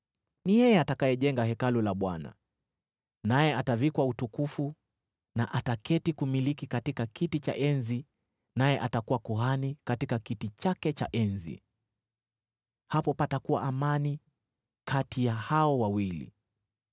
Ni yeye atakayejenga Hekalu la Bwana , naye atavikwa utukufu na ataketi kumiliki katika kiti cha enzi naye atakuwa kuhani katika kiti chake cha enzi. Hapo patakuwa amani kati ya hao wawili.’